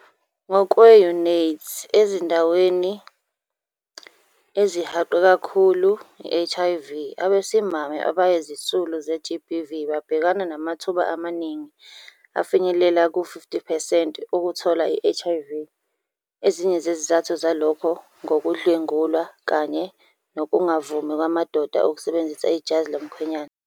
Ngokwe-UNAIDS, ezindaweni ezihaqwe kakhulu i-HIV, abesimame abayizisulu ze-GBV babhekana namathuba amaningi afinyelela kuma-50 percent okuthola i-HIV. Ezinye zezizathu zalokhu ngukudlwengulwa kanye nokungavumi kwamadoda ukusebenzisa ijazi lomkhwenyana.